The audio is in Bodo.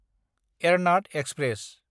एरनाद एक्सप्रेस